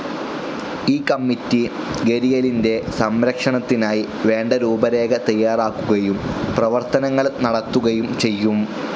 ഈ കമ്മിറ്റി ഗരിയലിന്റെ സംരക്ഷണത്തിനായി വേണ്ട രൂപരേഖ തയ്യാറാക്കുകയും പ്രവർത്തനങ്ങൾ നടത്തുകയും ചെയ്യും.